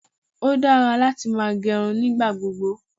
Ó dára láti máa gẹrun nígbà gbogbo.